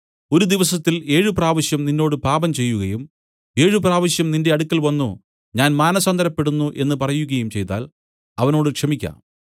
ഒരു ദിവസത്തിൽ ഏഴു പ്രാവശ്യം നിന്നോട് പാപംചെയ്യുകയും ഏഴുപ്രാവശ്യവും നിന്റെ അടുക്കൽ വന്നു ഞാൻ മാനസാന്തരപ്പെടുന്നു എന്നു പറകയും ചെയ്താൽ അവനോട് ക്ഷമിയ്ക്ക